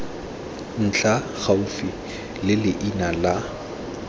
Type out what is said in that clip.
ntlha gaufi le leina la